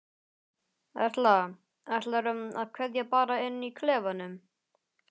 Erla: Ætlarðu að ákveða bara inni í klefanum?